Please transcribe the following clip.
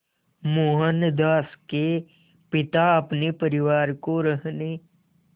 मोहनदास के पिता अपने परिवार को रहने